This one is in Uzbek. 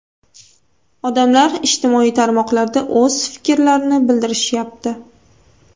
Odamlar ijtimoiy tarmoqlarda o‘z fikrlarini bildirishyapti.